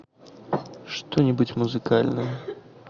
что нибудь музыкальное